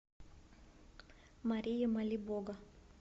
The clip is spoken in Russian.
мария молибога